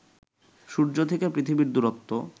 সূর্য থেকে পৃথিবীর দূরত্ব